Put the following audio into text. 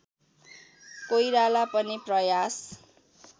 कोइराला पनि प्रयास